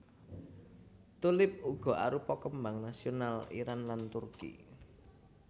Tulip uga arupa kembang nasional Iran lan Turki